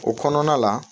O kɔnɔna la